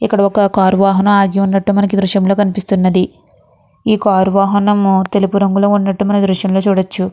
ఇక్కడ ఒక కార్ వాహనం ఆగి ఉన్నట్టు మనకి ఈ దరస్యం లో కనిపిస్తునది. ఈ కార్ వాహనం తెలుపు రంగులో ఉన్నట్టు మనం ఈ దృశ్యం లో చూడచ్చు.